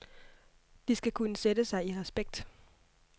De skal kunne sætte sig i respekt.